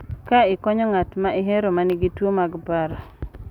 Ka ikonyo ng’at ma ihero ma nigi tuwo mag paro.